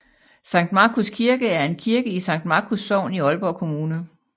Sankt Markus Kirke er en kirke i Sankt Markus Sogn i Aalborg Kommune